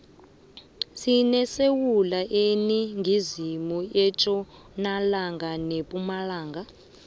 sinesewula iningizimu itjonalanga nepumalanga